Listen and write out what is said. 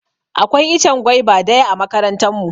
Akwai ichen gwaiva daya a makarantan mu.